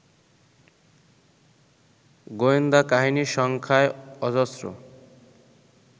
গোয়েন্দাকাহিনী সংখ্যায় অজস্র